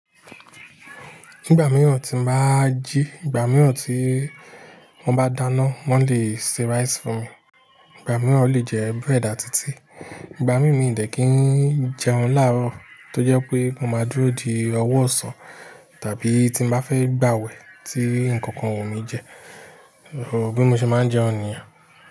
Nígbà mìíràn tí mo bá jí, ìgbà mìíràn tí wọ́n bá dáná, wọ́n lè se rice fún mi. Ìgbà mìíràn o le jẹ bread àti tíì, ìgbà mí mí n dẹ̀ kí n jẹun láàárọ̀ tó jẹ́ pé mo máa dúró di ọwọ ọ̀sán tàbí tí mo ba fẹ́ gbàwẹ̀ tí ǹkankan o wù mí jẹ, bi mo ṣe máa ń jẹun nìyẹn.